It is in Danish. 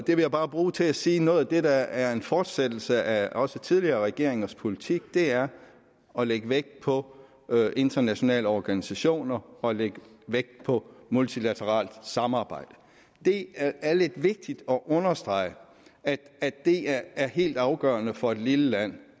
jeg bare bruge til at sige at noget af det der er en fortsættelse af også tidligere regeringers politik er at lægge vægt på internationale organisationer og at lægge vægt på multilateralt samarbejde det er vigtigt at understrege at det er helt afgørende for et lille land